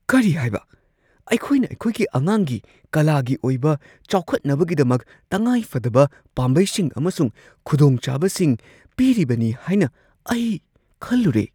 ꯀꯔꯤ ꯍꯥꯏꯕ? ꯑꯩꯈꯣꯏꯅ ꯑꯩꯈꯣꯏꯒꯤ ꯑꯉꯥꯡꯒꯤ ꯀꯂꯥꯒꯤ ꯑꯣꯏꯕ ꯆꯥꯎꯈꯠꯅꯕꯒꯤꯗꯃꯛ ꯇꯉꯥꯏꯐꯗꯕ ꯄꯥꯝꯕꯩꯁꯤꯡ ꯑꯃꯁꯨꯡ ꯈꯨꯗꯣꯡꯆꯥꯕꯁꯤꯡ ꯄꯤꯔꯤꯕꯅꯤ ꯍꯥꯏꯅ ꯑꯩ ꯈꯜꯂꯨꯔꯦ꯫